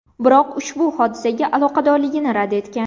Biroq u ushbu hodisaga aloqadorligini rad etgan.